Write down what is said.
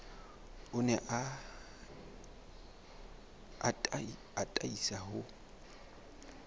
o ne a atisa ho